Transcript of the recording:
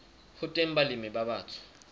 ho teng balemi ba batsho